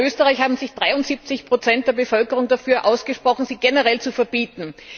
Auch in Österreich haben sich 73 der Bevölkerung dafür ausgesprochen, sie generell zu verbieten.